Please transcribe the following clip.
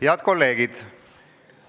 Head kolleegid!